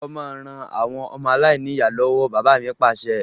Lọ máa ràn àwọn ọmọ aláìníya lọ́wọ́! Bàbá mi Pàṣẹ.